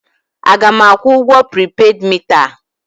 A ga m akwụ ụgwọ pripeed mita a?